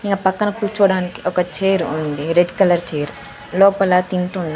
ఇంకా పక్కన కూర్చోవడానికి ఒక చైర్ ఉంది రెడ్ కలర్ చైర్ లోపల తింటున్నా.